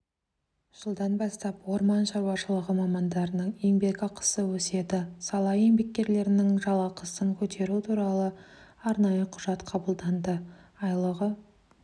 жылдан бастап орман шаруашылығы мамандарының еңбекақысы өседі сала еңбеккерлерінің жалақысын көтеру туралы арнайы құжат қабылданды айлығы